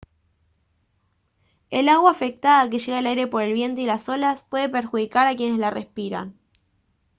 el agua afectada que llega al aire por el viento y las olas puede perjudicar a quienes la respiran